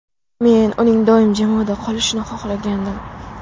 Men uning doim jamoada qolishini xohlagandim.